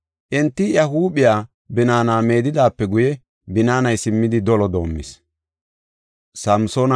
Enti iya huuphiya binaana meedidaape guye, binaanay simmidi dolo doomis.